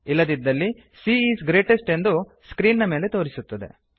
ಇಲ್ಲದಿದ್ದಲ್ಲಿ c is greatest ಎಂದು screen ನ ಮೇಲೆ ತೋರಿಸುತ್ತದೆ